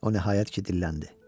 O nəhayət ki, dilləndi.